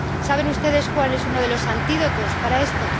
¿Saben ustedes cuál es uno de los antídotos para esto?